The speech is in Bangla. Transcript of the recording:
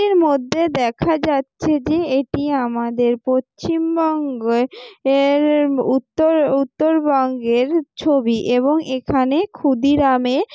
এর মধ্যে দেখা যাচ্ছে যে এটি আমাদের পশ্চিমবঙ্গের এরর উত্তর উত্তরবঙ্গের ছবি এবং এখানে ক্ষুদিরামে--